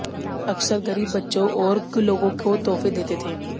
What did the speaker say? अक्सर गरीब बच्चो और लोगों को तोहफे देते थे